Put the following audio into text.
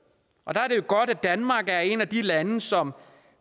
og der er det jo godt at danmark er et af de lande som